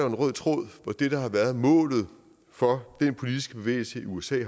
en rød tråd mod det der har været målet for den politiske bevægelse i usa